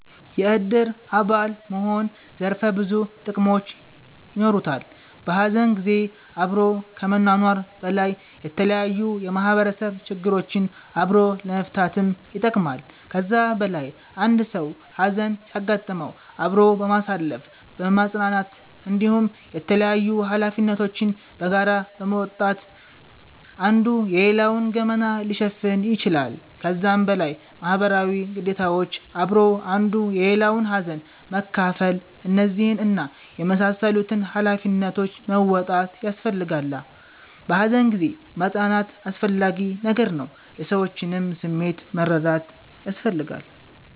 የእድር አባል መሆን ዘርፈ ብዙ ጥቅሞች የኖሩታል። በሀዘን ጊዜ አብሮ ከመኗኗር በላይ የተለያዩ የማህበረሰብ ችግሮችን አብሮ ለመፈታትም ይጠቅማል። ከዛ በላይ አንድ ሰዉ ሀዘን ሲያጋጥመዉ አብሮ በማሳለፍ በማፅናናት እንዲሁም የተላያዩ ሀላፊነቶችን በጋራ በመወጣት አንዱ የሌላዉን ገመና ሊሸፍን ይችላል። ከዛም በላይ ማህበረሰባዊ ግዴታዎች አብሮ አንዱ የሌላዉን ሀዘን መካፍል እነዚህን እና የመሳሰሉትን ሃላፊነቶች መወጣት ያሰፈልጋላ። በሃዘን ጊዜ ማፅናናት አስፈላጊ ነገር ነዉ። የሰዎችንም ስሜት መረዳት ያስፈልጋል